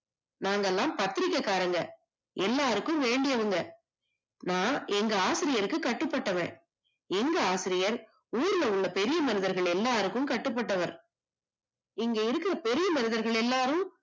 நாங்க எல்லாம் பத்திரிக்க காரங்க, எல்லாருக்கும் வேண்டியவங்க, நான் எங்க ஆசிரியர்க்கு கட்டுப்பட்டவே, எங்க ஆசிரியர் ஊர்ல உள்ள பெரிய மனிதர்கள் எல்லாருக்கும் கட்டுப்பட்டவர் இங்க இருக்குற பெரிய மனிதர்கள் எல்லாரும்